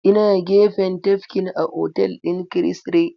Ina gefen tafkin a otal ɗin Chris Ray.